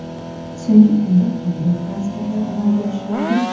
So‘nggi kunda qanday transferlar amalga oshirildi?.